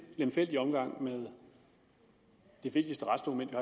lemfældig omgang med det vigtigste retsdokument vi